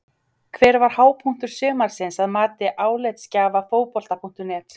Hver var hápunktur sumarsins að mati álitsgjafa Fótbolta.net?